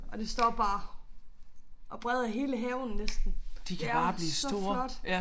Og det står bare og breder hele haven næsten. Det er så flot